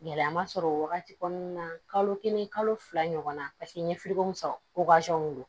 Gɛlɛya ma sɔrɔ o wagati kɔnɔna na kalo kelen kalo fila ɲɔgɔnna paseke n ye sɔrɔ don